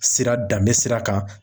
Sira danbe sira kan.